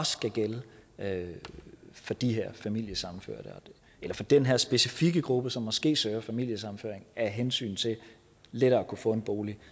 skal gælde for de her familiesammenførte eller for den her specifikke gruppe som måske søger familiesammenføring af hensyn til lettere at kunne få en bolig